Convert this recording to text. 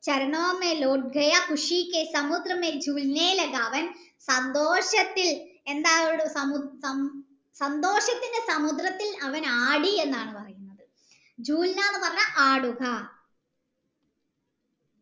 അവൻ സന്തോഷത്തിൽ എന്തായി സന്തോഷത്തിൻ്റെ സമുദ്രത്തിൽ അവൻ ആടി എന്നാണ് പറയുന്നത് എന്ന് പറഞ്ഞാൽ ആടുക